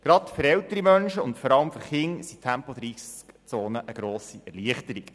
Gerade für ältere Menschen und für Kinder sind Tempo-30-Zonen eine grosse Erleichterung.